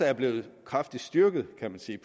er blevet kraftigt styrket kan man sige